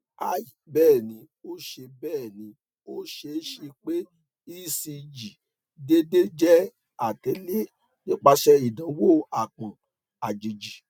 hi bẹẹni o ṣee bẹẹni o ṣee ṣe pe ecg deede jẹ atẹle nipasẹ idanwo aapọn ajeji